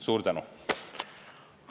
Suur tänu!